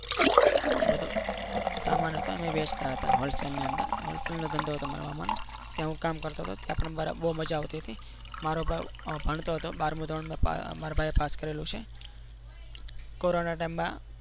એ બધો સામાન હતો એ વેચતા હતા હોલસેલ ની અંદર હોલસેલ નું ધંધો હતો માર મામાને ત્યાં હું કામ કરતો હતો ત્યાં પણ બરાબર બહુ મજા આવતી હતી મારો ભાવ ભણતો હતો બારમું ધોરણમાં મારા ભાઈએ પાસ કરેલું છે. કોરોના ટાઈમમાં